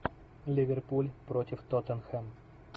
ливерпуль против тоттенхэм